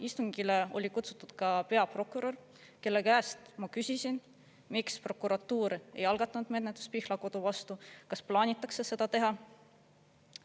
Istungile oli kutsutud ka peaprokurör, kelle käest ma küsisin, miks prokuratuur ei algatanud menetlust Pihlakodu vastu ja kas plaanitakse seda teha.